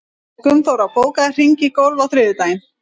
Gunnþóra, bókaðu hring í golf á þriðjudaginn.